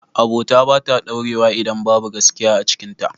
Abota bata ɗaurewa idan babu gaskiya a cikin ta